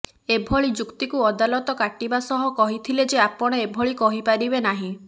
ଏଭଳି ଯୁକ୍ତିକୁ ଅଦାଲତ କାଟିବା ସହ କହିଥିଲେ ଯେ ଆପଣ ଏଭଳି କହିପାରିବେ ନାହିଁ